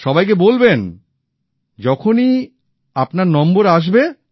আর সবাইকে বলবেন যখনই আপনার নম্বর আসবে